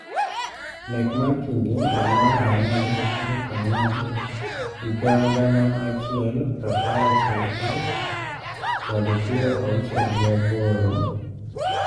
Nek mar King dwe mar Ang'wen tarik ang'wen higa gana achiel prapar ochiko kod piero auchiel gi aboro,